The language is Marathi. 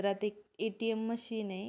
रात एक ए.टी.एम. मशीन ये.